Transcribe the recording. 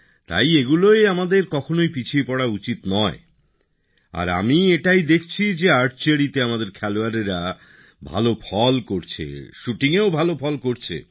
তাই এগুলোয় আমাদের কখনোই পিছিয়ে পড়া উচিত নয় আর আমি দেখছি যে তীরন্দাজীতে আমাদের খেলোয়াড়রা ভালো ফল করছে শুটিংয়েও ভালো ফল করছে